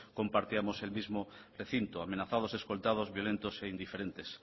compartíamos el mismo recinto amenazados escoltados violentos e indiferentes